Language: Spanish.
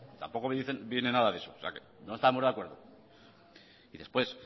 tampoco viene nada de eso no estamos de acuerdo y después